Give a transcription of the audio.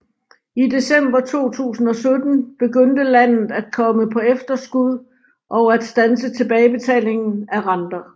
I december 2017 begyndte landet at komme på efterskud og at standse tilbagebetaling af renter